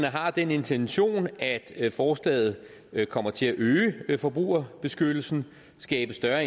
har den intention at forslaget kommer til at øge forbrugerbeskyttelsen skabe større